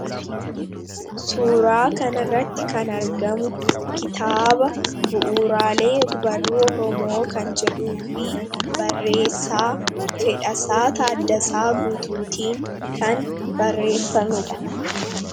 Suuraa kanarratti kan argamu kitaaba bu'uuraalee og-barruu oromoo kan jedhuu fi barreessaa Fedhasaa Taaddasaa Guutuutiin kan barreeffamedha.